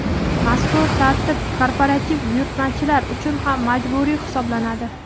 Mazkur tartib korporativ buyurtmachilar uchun ham majburiy hisoblanadi.